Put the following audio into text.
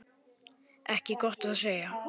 Ekki gott að segja.